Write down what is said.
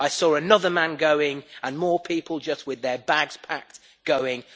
I saw another man going, and more people just with their bags packed going'.